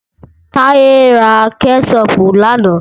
Táyé ra kẹ́ṣọpù lánà.